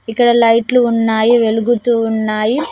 ఇక్కడ లైట్లు ఉన్నాయి వెలుగుతూ ఉన్నాయి.